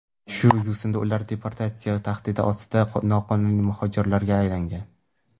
Shu yo‘sinda ular deportatsiya tahdidi ostidagi noqonuniy muhojirlarga aylangan.